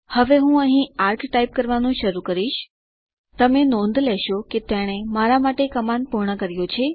હવે હું અહીં ચાપ ટાઇપ કરવાનું શરૂ કરીશ તમે નોંધ લેશો કે તેણે મારા માટે કમાન્ડ પૂર્ણ કર્યો છે